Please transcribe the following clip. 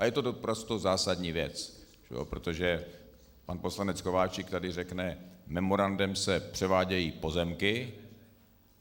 A je to naprosto zásadní věc, protože pan poslanec Kováčik tady řekne: memorandem se převádějí pozemky...